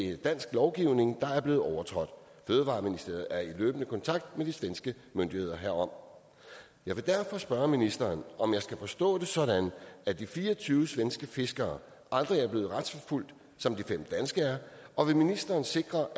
er dansk lovgivning der er blevet overtrådt fødevareministeriet er i løbende kontakt med de svenske myndigheder herom jeg vil derfor spørge ministeren om jeg skal forstå det sådan at de fire og tyve svenske fiskere aldrig er blevet retsforfulgt som de fem danske er og vil ministeren sikre